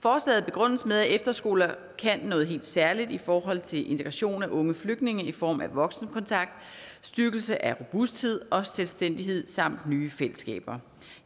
forslaget begrundes med at efterskoler kan noget helt særligt i forhold til integration af unge flygtninge i form af voksenkontakt styrkelse af robusthed og selvstændighed samt nye fællesskaber